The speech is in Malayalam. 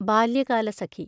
ബാല്യകാലസഖി